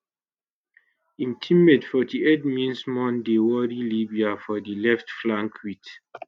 im teammate 48 minssimon dey worry libya for di left flank wit